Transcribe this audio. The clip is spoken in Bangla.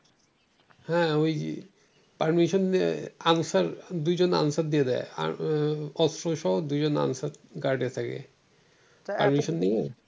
হ্যাঁ ওই permission নিয়ে আনসার দুইজন আনসার দিয়ে দেয় দুইজন আনসার guard এ থাকে